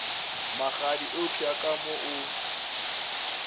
magadi eupša ka mo o